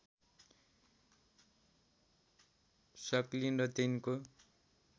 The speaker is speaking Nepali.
स्कलिन र तिनको